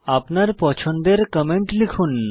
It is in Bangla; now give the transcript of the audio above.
আপনার পছন্দের কমেন্ট লিখুন